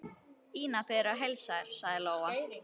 Ína biður að heilsa þér, sagði Lóa.